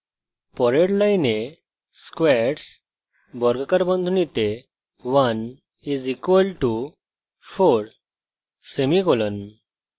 পরের line squares 1 = 4;